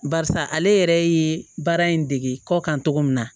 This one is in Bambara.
Barisa ale yɛrɛ ye baara in dege kɔ kan cogo min na